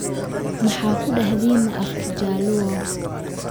maxa kudahdina af kijaluo